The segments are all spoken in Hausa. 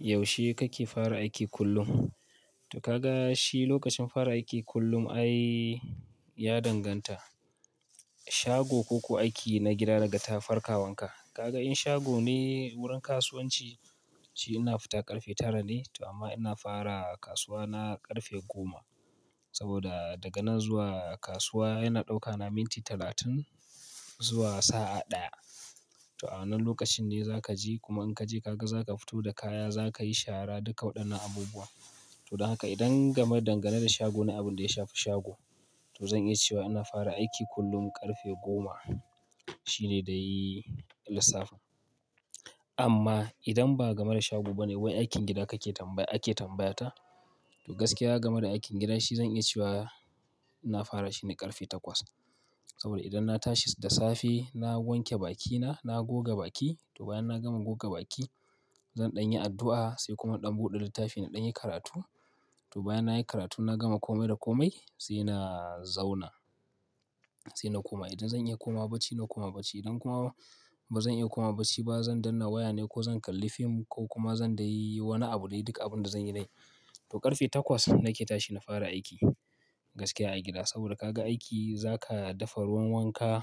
Yaushe kake fara aiki kullum? To ka ga shi lokacin fara aiki kullum ai ya danganta shago ko aiki na gida daga ta farkar wanka. Ka ga in shago ne wurin kasuwanci, shi ina fita ƙarfe tara ne amma ina fara a kasuwa na ƙarfe goma. Saboda daga nan zuwa kasuwa yana ɗauka na minti talatin zuwa sa'a ɗaya. To a wannan lokacin ne za ka je kuma in ka je ka ga za ka fito da kaya, za ka yi shara duk wannan abubuwa. To don haka idan game da dangane da shago ne abin da ya shafi shago, to zan iya cewa ina fara aiki kullum ƙarfe goma shine dai lissafin. Amma idan ba game da shago ba ne wai aikin gida ake tambayata, to gaskiya game da aikin gida shi zan iya cewa na fara shi ne ƙarfe takwas. Saboda idan na tashi da safe, na wanke bakina, na goga baki, to bayan na gama goga baki, zan ɗan yi addu'a sai kuma ɗan buɗe littafi na ɗan yi karatu. To bayan na yi karatu na gama kome da kome sai na zauna, sai na koma. Idan zan iya komawa bacci na koma bacci. Idan kuma ba zan iya komawa bacci ba, zan danna waya ne ko zan kalli fim ko kuma zan dai yi wani abu dai duk abin da zan yi dai. To ƙarfe takwas nake tashi na fara aiki gaskiya a gida. Saboda ka ga aiki za ka dafa ruwan wanka,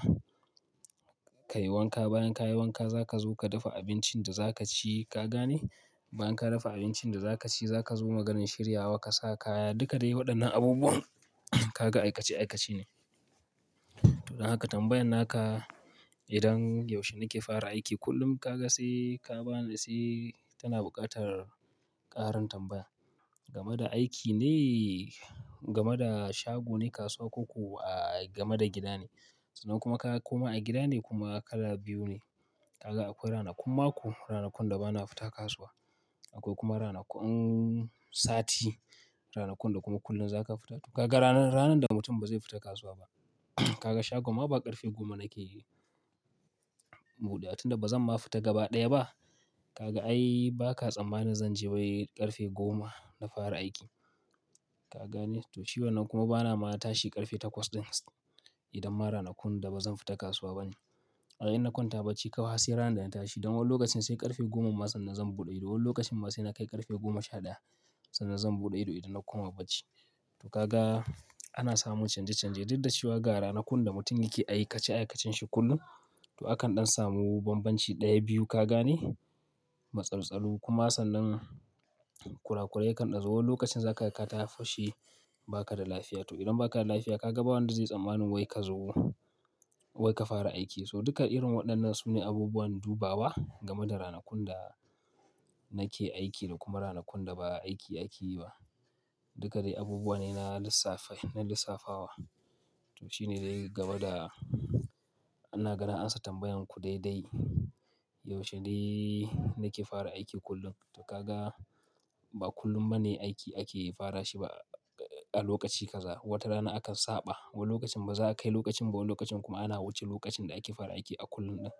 ka yi wanka bayan ka yi wanka za ka zo ka dafa abincin da za ka ci, ka gane? Bayan ka dafa abincin da za ka ci, za ka zo maganin shirya wa ka sa kaya duka dai waɗannan abubuwan. Ka ga aikace aikace ne. To don haka tambayan naka idan yaushe nake fara aiki kullum ka ga sai ka bani sai tana buƙatar ƙarin tambaya. Game da aiki ne, game da shago ne kasuwa ko kuwa game da gida ne. Sannan kuma ka koma a gida ne kuma kala biyu ne. Ka ga akwai ranakun mako, ranakun da ba na fita kasuwa. Akwai kuma ranakun sati, ranakun da kuma kullum za ka fita. To ka ga ranar, ranar da mutum ba zai fita kasuwa ba. Ka ga shago ma ba ƙarfe goma nake buɗe ba tunda ba zan ma fita gaba ɗaya ba. Ka ga ai ba ka tsammani zan je wai ƙarfe goma na fara aiki. Ka gane? To shi wanan kuma ba na ma tashi ƙarfe takwas ɗin idan ma ranakun da ba zan fita kasuwa ba ne. To in na kwanta bacci kawai sai ranar da na tashi don wa lokacin sai ƙarfe goma ma sannan zan buɗe ido. Wan lokacin ma sai na kai ƙarfe goma sha ɗaya sannan zan buɗe ido idan na koma bacci. To ka ga ana samun canje canje duk da cewa ga ranakun da mutum yake aikace aikacen shi kullum. To akan ɗan samu bambanci ɗaya biyu ka gane? Matsatsalu kuma sannan kura kurai kan ɗan zo. Wan lokacin za ka ga ka tafi washi ba ka da lafiya. To idan ba ka da lafiya ka ga ba wanda zai tsammani wai ka zo, wai ka fara aiki. So duka irin waɗannan su ne abubuwan duba wa game da ranakun da nake aiki da kuma ranakun da ba aiki ake yi ba. Duka dai abubuwa ne na lissafi, na lissafa wa. To shi ne dai game da ana ganin ansa tambayan ku daidai. Yaushe dai nake fara aiki kullum. To ka ga ba kullum ba ne aiki ake fara shi ba a lokaci kaza. Wata rana aka saɓa, wani lokacin ba za ka yi lokacin ba wani lokacin kuma ana wuce lokacin da ake fara aiki a kullum ɗin.